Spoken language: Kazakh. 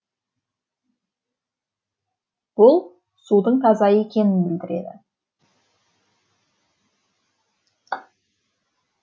бұл судың таза екенін білдіреді